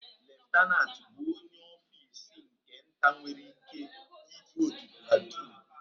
Leftanantu bụ onye ọfisa nke nta nwere ị́ké idu otu platuun.